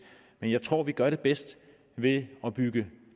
men jeg tror vi gør det bedst ved at bygge